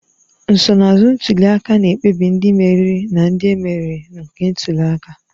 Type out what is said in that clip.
Nsonaazụ ntuli aka na-ekpebi ndị mmeri na ndị e meriri nke ntuli aka